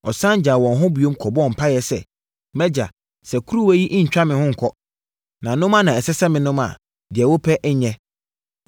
Ɔsane gyaa wɔn hɔ bio kɔbɔɔ mpaeɛ sɛ, “MʼAgya, sɛ kuruwa yi rentwa me ho nkɔ, na nom ara na ɛsɛ sɛ menom a, deɛ wopɛ nyɛ.”